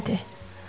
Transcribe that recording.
Gəlmədi.